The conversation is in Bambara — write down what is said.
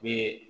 Be